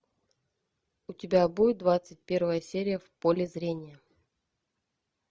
у тебя будет двадцать первая серия в поле зрения